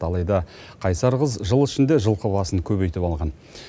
алайда қайсар қыз жыл ішінде жылқы басын көбейтіп алған